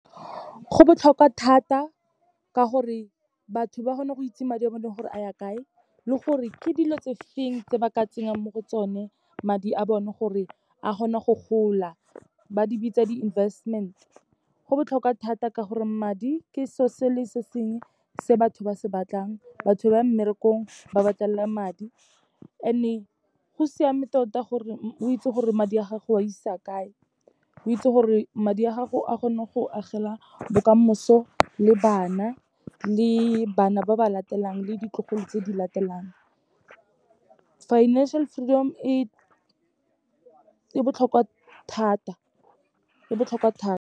Go botlhokwa thata ka gore batho ba kgona go itse madi a bone gore a ya kae, le gore ke dilo tse feng tse ba ka tsenyang mo go tsone madi a bone gore a kgone go gola, ba di bitsa di-investment. Go botlhokwa thata ka gore madi ke seo se le se sengwe se batho ba se batlang, batho ba mmerekong ba batlela madi and-e go siame tota gore o itse gore madi a gago o a isa kae, o itse gore madi a gago a kgone go agela bokamoso le bana, le bana ba ba latelang le ditlogolo tse di latelang. Financial freedom e e botlhokwa thata, e botlhokwa thata.